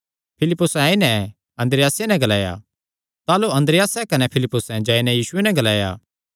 फिलिप्पुसैं आई नैं अन्द्रियासे नैं ग्लाया ताह़लू अन्द्रियासे कने फिलिप्पुसे जाई नैं यीशुये नैं ग्लाया